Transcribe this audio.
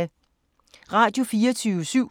Radio24syv